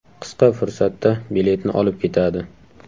Qisqa fursatda biletni olib ketadi.